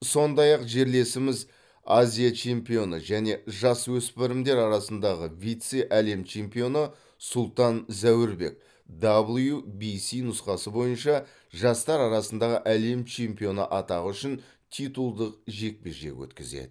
сондай ақ жерлесіміз азия чемпионы және жасөспірімдер арасындағы вице әлем чемпионы сұлтан зәурбек дабл ю би си нұсқасы бойынша жастар арасындағы әлем чемпионы атағы үшін титулдық жекпе жек өткізеді